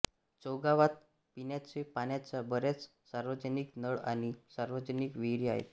चौगावात पिण्याच्या पाण्याच्या बऱ्याच सार्वजनिक नळ आणि सार्वजनिक विहिरी आहेत